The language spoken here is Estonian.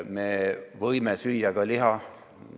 Me võime süüa ka liha.